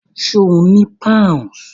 Ṣé o ni Pounds?